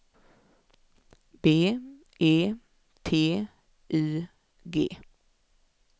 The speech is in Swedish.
B E T Y G